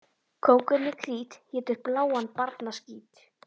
Kóngurinn í Krít étur bláan barnaskít.